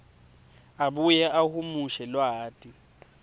abuye ahumushe lwati